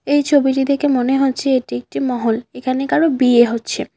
এই ছবিটি দেখে মনে হচ্ছে এটি একটি মহল এখানে কারো বিয়ে হচ্ছে।